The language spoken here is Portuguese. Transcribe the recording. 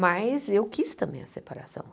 Mas eu quis também a separação.